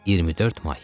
24 may.